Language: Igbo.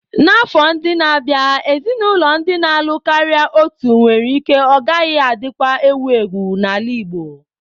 N'afọ ndị na-abịa, ezinaụlọ ndị na-alụ karịa otu nwere ike ọ gaghị adịkwa ewu ewu n'ala Igbo.